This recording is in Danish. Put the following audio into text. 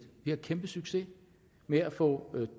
vi har kæmpe succes med at få